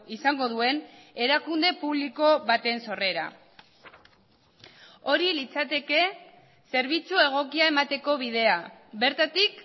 izango duen erakunde publiko baten sorrera hori litzateke zerbitzu egokia emateko bidea bertatik